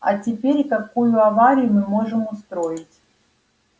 а теперь какую аварию мы можем устроить